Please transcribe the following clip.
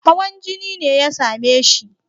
Hawan jini ne ya same shi.